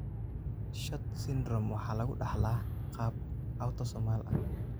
SHORT Syndrome waxa lagu dhaxlaa qaab autosomal ah.